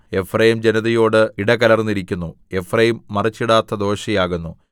Ephraim ജനതയോട് ഇടകലർന്നിരിക്കുന്നു എഫ്രയീം മറിച്ചിടാത്ത ദോശ ആകുന്നു